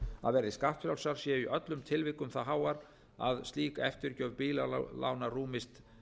að verði skattfrjálsar séu í öllum tilvikum það háar að slík eftirgjöf bílalána rúmist